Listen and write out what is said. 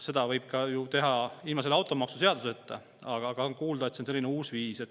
Seda võib teha ka ilma selle automaksuseaduseta, aga on kuulda, et on selline uus viis.